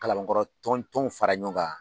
Kalabankɔrɔ tɔn tɔnw fara ɲɔgɔn kan